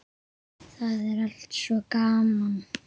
Það er allt svo gaman.